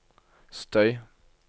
støy